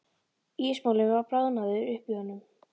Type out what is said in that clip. Ísmolinn var bráðnaður upp í honum.